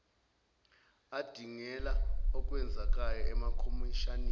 adingida okwenzekayo amakhomishani